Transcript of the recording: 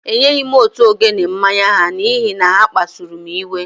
Enyeghị m òtù ogene mmanya ha n’ihi na ha kpasuru m iwe